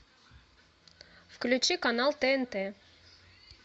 включи канал тнт